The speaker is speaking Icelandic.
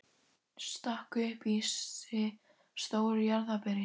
Stakk upp í sig stóru jarðarberi.